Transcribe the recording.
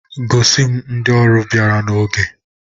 Gosi m ndị ọrụ bịara n'oge!